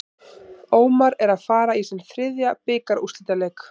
Ómar er að fara í sinn þriðja bikarúrslitaleik.